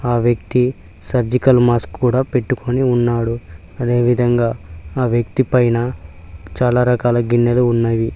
ఆ వ్యక్తి surgical mask కూడా పెట్టుకొని ఉన్నాడు అదేవిధంగా ఆ వ్యక్తి పైన చాలా రకాల గిన్నెలు ఉన్నాయి.